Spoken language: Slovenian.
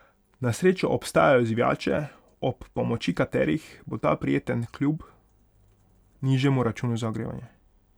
Na srečo obstajajo zvijače, ob pomoči katerih bo ta prijeten kljub nižjemu računu za ogrevanje.